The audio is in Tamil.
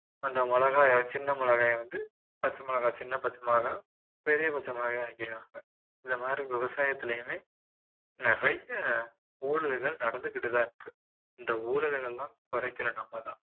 அந்த மிளகாய சின்ன மிளகாயை வந்து பச்சை மிளகாய் சின்ன பச்சை மிளகாய், பெரிய பச்சை மிளகாய் ஆக்கிருவாங்க இந்த மாதிரி விவசாயத்திலையுமே நிறைய ஊழல்கள் நடந்துகிட்டு தான் இருக்கு இந்த ஊழல்கள் எல்லாம் குறைக்கணும் நம்ம தான்